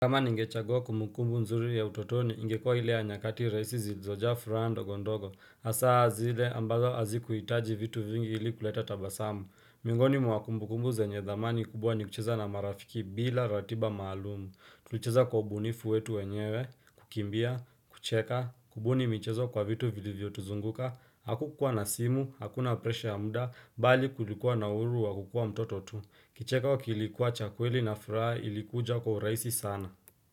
Kama ningechagua kumukumbu nzuri ya utotoni ingekuwa ile nyakati rahisi zilizojaa furaha ndogondogo hasa zile ambazo hazikuhitaji vitu vingi ili kuleta tabasamu Miongoni mwa kumbukumbu zenye dhamani kubwa ni kucheza na marafiki bila ratiba maalumu Tulicheza kwa ubunifu wetu wenyewe, kukimbia, kucheka, kubuni michezo kwa vitu viliviyo tuzunguka Hakukua na simu, hakuna presha ya muda, bali kulikuwa na uhuru wa kukua mtoto tu Kicheko kilikuwa cha kweli na furaha ilikuja kwa urahisi sana.